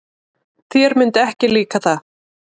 Þér myndi ekki líka það.